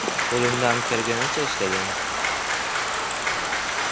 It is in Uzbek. Qo‘limdan kelganicha ishladim.